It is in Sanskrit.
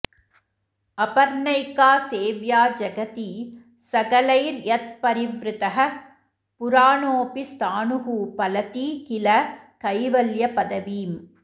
अपर्णैका सेव्या जगति सकलैर्यत्परिवृतः पुराणोऽपि स्थाणुः फलति किल कैवल्यपदवीम्